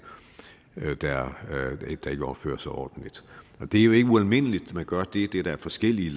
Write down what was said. der ikke opfører sig ordentligt det er jo ikke ualmindeligt at man gør det det er der forskellige